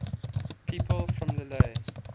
people from lille